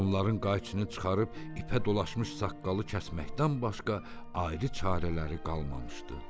Onların qayçını çıxarıb ipə dolaşmış saqqalı kəsməkdən başqa ayrı çarələri qalmamışdı.